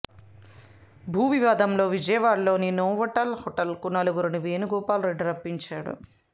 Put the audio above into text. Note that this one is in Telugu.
భూ వివాదంలో విజయవాడలోని నోవాటెల్ హోటల్ కు నలుగురిని వేణుగోపాల్ రెడ్డి రప్పించాడు